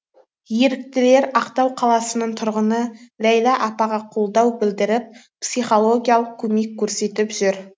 еріктілер ақтау қаласының тұрғыны ләйлә апаға қолдау білдіріп психологиялық көмек көрсетіп жүр